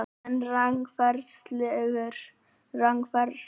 En það eru rangfærslur